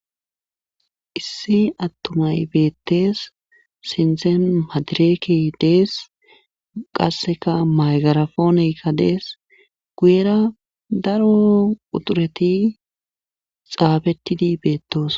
Issi atumay beetees sinthen madirekke dees. qasekka maygirapone dees. guyera daro quxxureti xaafetidi beetosona.